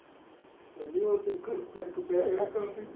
ਕਹਿੰਦੀ ਉਹ ਸੁੱਖ ਫ਼ਰਕ ਪਿਆ ਹੈਗਾ ਕਾਫ਼ੀ।